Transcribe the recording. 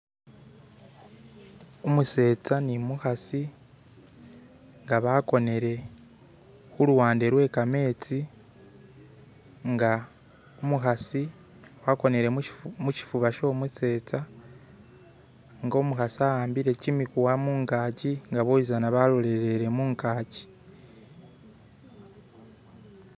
Umuseeza numukasi nga bagonere ku lubeega lwe gamenzi nga umukasi agoneere mushifuba shomuseeza, nga umukasi awambire gyimuguwa mungajji nga bosizana basilire mungajji.